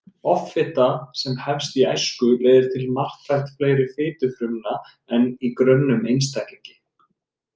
Offita sem hefst í æsku leiðir til marktækt fleiri fitufrumna en í grönnum einstaklingi.